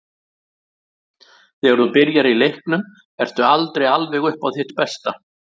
Þegar þú byrjar í leiknum ertu aldrei alveg upp á þitt besta.